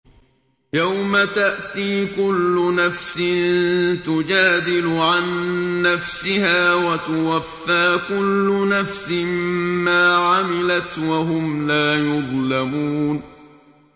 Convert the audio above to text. ۞ يَوْمَ تَأْتِي كُلُّ نَفْسٍ تُجَادِلُ عَن نَّفْسِهَا وَتُوَفَّىٰ كُلُّ نَفْسٍ مَّا عَمِلَتْ وَهُمْ لَا يُظْلَمُونَ